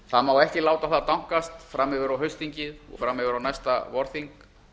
það má ekki láta það dankast fram yfir á haustþingið og framyfir á næsta vorþing